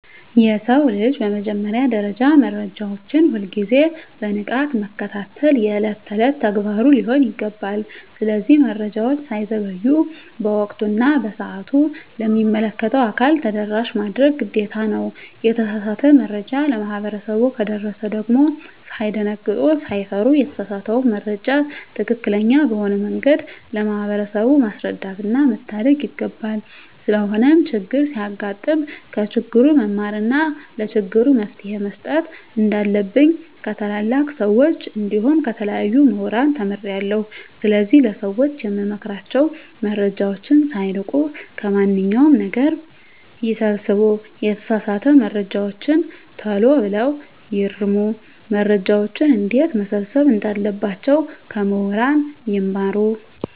የሰው ልጅ በመጀመሪያ ደረጃ መረጃዎችን ሁል ግዜ በንቃት መከታተል የእለት እለት ተግባሩ ሊሆን ይገባል። ስለዚህ መረጃወች ሳይዘገዩ በወቅቱ እና በሰአቱ ለሚመለከተው አካል ተደራሽ ማድረግ ግዴታ ነው። የተሳሳተ መረጃ ለማህበረሰቡ ከደረሰ ደግም ሳይደነግጡ ሳይፈሩ የተሳሳተውን መረጃ ትክክለኛ በሆነ መንገድ ለማህበረሰቡ ማስረዳትና መታደግ ይገባል። ስለሆነም ቸግር ሲያጋጥም ከችግሩ መማርና ለችግሩ መፈትሄ መስጠት እንንዳለብኝ ከታላላቅ ሰወች እንዲሁም ከተለያዩ ሙህራን ተምሬአለሁ። ስለዚህ ለሰወች የምመክራቸው መረጃወችን ሳይንቁ ከማንኛው ነገር ይሰብስቡ የተሳሳተ መረጃወችን ተሎ ብለው ይርሙ። መረጃወችን እንዴትመሰብሰብ እንዳለባቸው ከሙህራን ይማሩ።